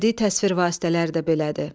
Bədi təsvir vasitələri də belədir.